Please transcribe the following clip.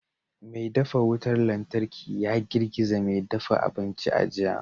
Mai dafa wutar lantarki ya girgiza mai dafa abinci a jiya